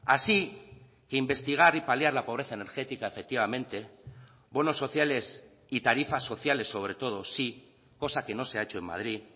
así que investigar y paliar la pobreza energética efectivamente bonos sociales y tarifas sociales sobre todo sí cosa que no se ha hecho en madrid